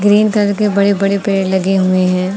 Green colour के बड़े बड़े पेड़ लगे हुए हैं।